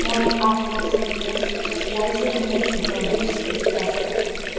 мой авторский курс с использованием психологических тестов